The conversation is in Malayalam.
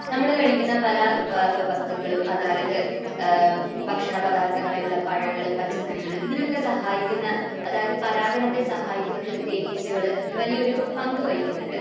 നമ്മൾ കഴിക്കുന്ന പല വസ്തുക്കളും, അതായത് ഭക്ഷണപദാർത്ഥങ്ങളായിട്ടുള്ള പഴങ്ങൾ, പച്ചക്കറികൾ, ഇതിനൊക്കെ സഹായിക്കുന്ന, അതായത് പരാഗണത്തെ സഹായിക്കുന്നത്തിൽ തേനീച്ചകൾ വലിയൊരു പങ്കു വഹിക്കുന്നുണ്ട്.